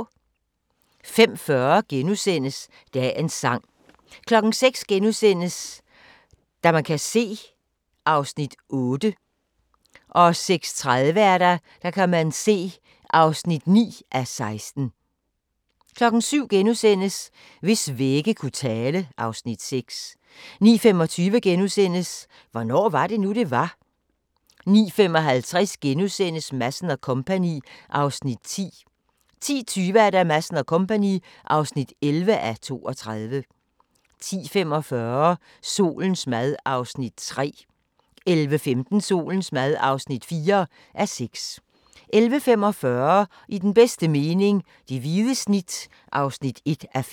05:40: Dagens sang * 06:00: Der kan man se (8:16)* 06:30: Der kan man se (9:16) 07:00: Hvis vægge kunne tale (Afs. 6)* 09:25: Hvornår var det nu, det var? * 09:55: Madsen & Co. (10:32)* 10:20: Madsen & Co. (11:32) 10:45: Solens mad (3:6) 11:15: Solens mad (4:6) 11:45: I den bedste mening - det hvide snit (1:5)